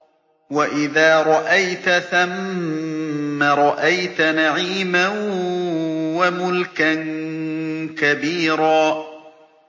وَإِذَا رَأَيْتَ ثَمَّ رَأَيْتَ نَعِيمًا وَمُلْكًا كَبِيرًا